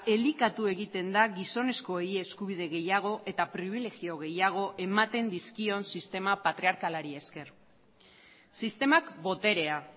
elikatu egiten da gizonezkoei eskubide gehiago eta pribilegio gehiago ematen dizkion sistema patriarkalari esker sistemak boterea